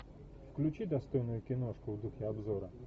включи достойную киношку в духе обзора